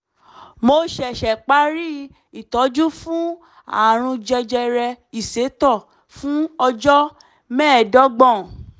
mo ṣẹ̀ṣẹ̀ parí ìtọ́jú fún ààrùn jẹjẹrẹ ìsétọ̀ fún ọjọ́ mẹ́ẹ̀ẹ́dọ́gbọ̀n